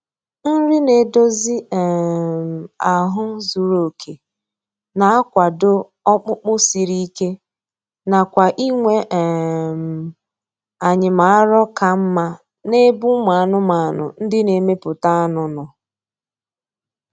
Nri na-edozi um ahụ zuru oke na-akwado ọkpụkpụ siri ike na kwa inwe um anyịm arọ ka mma n’ebe ụmụ anụmanụ ndị na-emepụta anụ nọ.